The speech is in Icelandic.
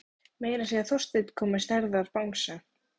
Bolvíkingar að gjalda?